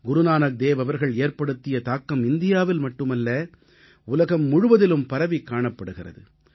குருநானக்தேவ் அவர்கள் ஏற்படுத்திய தாக்கம் இந்தியாவில் மட்டுமல்ல உலகம் முழுவதிலும் பரவிக் காணப்படுகிறது